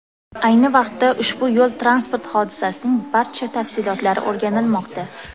Ayni vaqtda ushbu yo‘l-transport hodisasining barcha tafsilotlari o‘rganilmoqda.